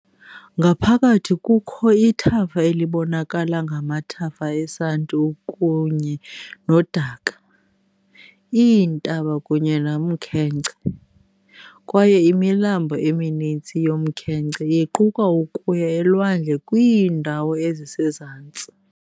Ngaphakathi kukho ithafa elibonakala ngamathafa esanti ukunye nodaka, iintaba kunye nomkhenkce, kwaye imilambo eminintsi yomkhenkce iquka ukuya elwandle kwiindawo ezisezantsi .